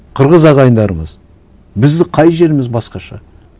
қырғыз ағайындарымыз біздің қай жеріміз басқаша